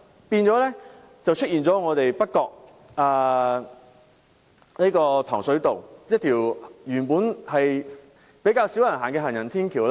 結果，在北角糖水道一條原本較少人使用的行人天橋，